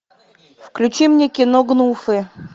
включи мне кино гнуфы